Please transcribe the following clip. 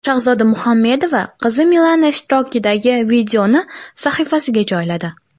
Shahzoda Muhammedova qizi Milana ishtirokidagi videoni sahifasiga joyladi.